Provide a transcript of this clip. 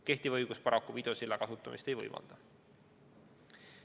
Kehtiv õigus paraku videosilla kasutamist ei võimalda.